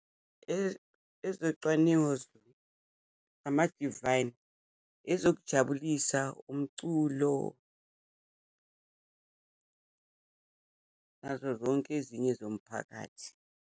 Ezocwaningo zona, ama-divine. Ezokujabulisa, umculo, nazo zonke ezinye zomphakathi.